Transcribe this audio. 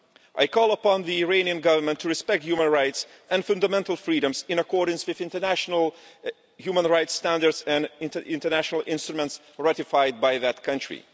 I call on the Iranian Government to respect human rights and fundamental freedoms, in accordance with international human rights standards and international instruments ratified by that country.